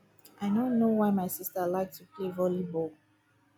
i no know why my sister like to play volley ball